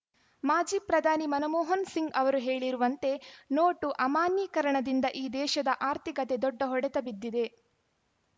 ಮಾಜಿ ಪ್ರಧಾನಿ ಮನಮೋಹನ್ ಸಿಂಗ್‌ ಅವರು ಹೇಳಿರುವಂತೆ ನೋಟು ಅಮಾನ್ಯೀಕರಣದಿಂದ ಈ ದೇಶದ ಆರ್ಥಿಕತೆ ದೊಡ್ಡ ಹೊಡೆತ ಬಿದ್ದಿದೆ